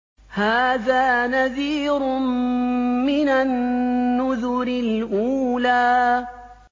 هَٰذَا نَذِيرٌ مِّنَ النُّذُرِ الْأُولَىٰ